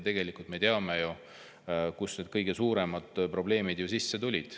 Tegelikult me ju teame, kust need kõige suuremad probleemid tulid.